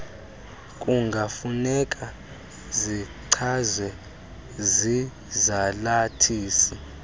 kungafuneka zichazwe zizalathisi